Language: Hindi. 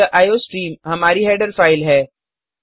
यह आईओस्ट्रीम हमारी हेडर फाइल है